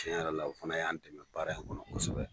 Tiɲɛ yɛrɛ la, o fana y'a dɛmɛ baara in kɔnɔ kosɛbɛ.